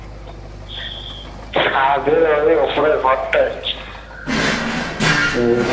ছাদে ওই ওপরের ঘরটা হচ্ছে